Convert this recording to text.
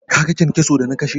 Kaga kyankyason da na kashe?